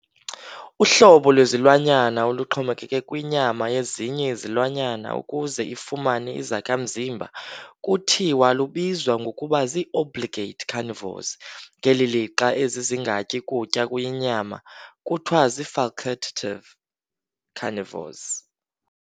Uhlobo lwezilwanyana oluxhomekeke kwinyama yezinye izilwanyana ukuze ifumane izakha mzimba kuthiwa lubizwa ngokuba zii- obligate carnivores, ngeli lixa ezi zingatyi kutya kuyinyama kuthiwa zii- facultative carnivores.